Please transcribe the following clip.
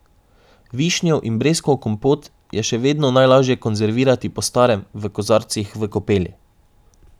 Višnjev in breskov kompot je še vedno najlaže konzervirati po starem, v kozarcih v kopeli.